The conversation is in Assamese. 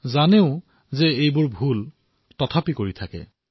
জানে এয়া ভুল বুলি তথাপিও কৰে